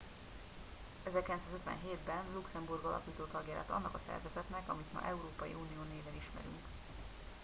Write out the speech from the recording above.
1957 ben luxemburg alapító tagja lett annak a szervezetnek amit ma európai unió néven ismerünk